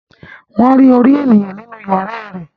Wọ́n rí orí ènìyàn nínú yàrá rẹ̀